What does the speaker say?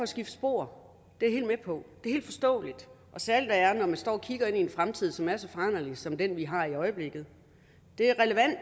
skifte spor det er jeg helt med på det er helt forståeligt og særlig når man står og kigger ind i en fremtid som er så foranderlig som den vi har i øjeblikket det er